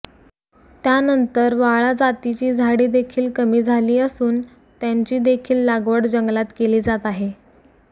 त्यानंतर वाळा जातीची झाडे देखील कमी झाली असून त्यांची देखील लागवड जंगलात केली जात आहे